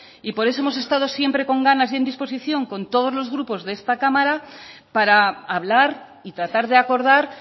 y por eso hemos estado siempre con ganas y en disposición con todos los grupos de esta cámara para hablar y tratar de acordar